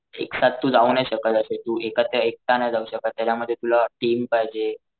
एक साथ तू जाऊ नाही शकत अशे तू एक एकटा नाही जाऊ शकत त्याच्यामध्ये तुला टीम पाहिजे.